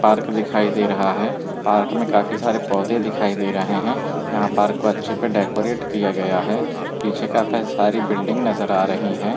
Park दिखाई दे रहा है पार्क में काफी सारे पौधे दिखाई दे रहे है यहां पार्क को अच्छे से डेकोरट किया गया है पीछे काफी सारी बिल्डिंग नजर आ रही है।